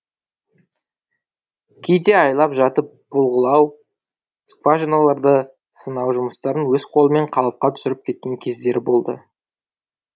кейде айлап жатып бұлғылау скважиналарды сынау жұмыстарын өз қолымен қалыпқа түсіріп кеткен кездері болды